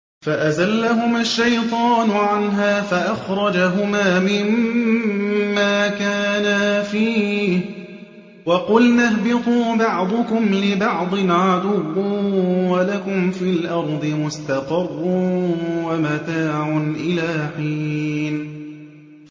فَأَزَلَّهُمَا الشَّيْطَانُ عَنْهَا فَأَخْرَجَهُمَا مِمَّا كَانَا فِيهِ ۖ وَقُلْنَا اهْبِطُوا بَعْضُكُمْ لِبَعْضٍ عَدُوٌّ ۖ وَلَكُمْ فِي الْأَرْضِ مُسْتَقَرٌّ وَمَتَاعٌ إِلَىٰ حِينٍ